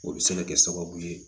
O bɛ se ka kɛ sababu ye